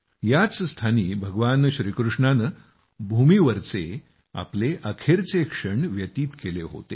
याच स्थानी भगवान श्रीकृष्णानं भूमीवरचे आपले अखेरचे क्षण व्यतीत केले होते